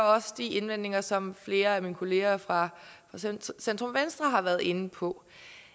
også de indvendinger som flere af mine kollegaer fra centrum venstre har været inde på